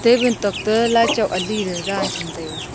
ae van tok ta light chu ali ley dan cham taega.